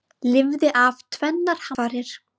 Lifði af tvennar hamfarir